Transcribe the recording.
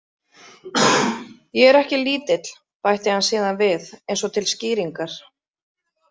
Ég er ekki lítill, bætti hann síðan við, eins og til skýringar.